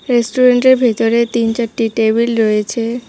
রেস্টুরেন্টের ভেতরে তিন চারটি টেবিল রয়েছে।